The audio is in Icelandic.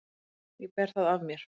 Ég ber það af mér.